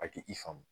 A ti i faamu